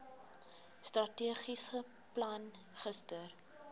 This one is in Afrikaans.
strategiese plan gister